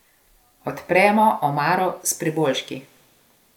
Odpremo omaro s priboljški.